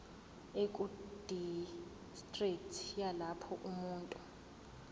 ekudistriki yalapho umuntu